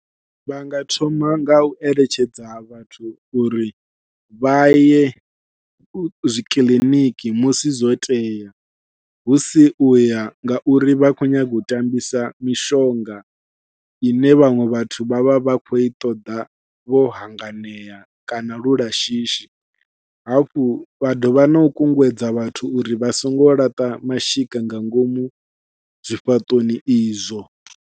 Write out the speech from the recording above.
Vha nga thoma ngau eletshedza vhathu uri vha ye zwi kiḽiniki musi zwo tea, hu si uya nga uri vha khou nyaga u tambisa mishonga ine vhaṅwe vhathu vha vha vha khou i ṱoḓa vho hanganea kana lu la shishi hafhu vha dovha nau kunguwedza vhathu uri vha songo laṱa mashika nga ngomu zwifhaṱoni izwo.